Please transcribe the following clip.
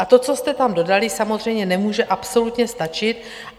A to, co jste tam dodali, samozřejmě nemůže absolutně stačit.